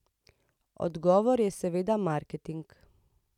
Odgovor je seveda marketing.